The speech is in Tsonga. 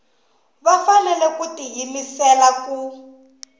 va fanele ku tiyimisela ku